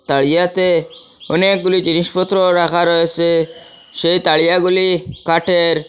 তারিয়াতে অনেকগুলি জিনিসপত্র রাখা রয়েসে সেই তারিয়াগুলি কাটের ।